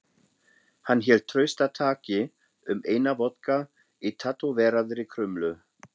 Hann hélt traustataki um eina vodka í tattóveraðri krumlu.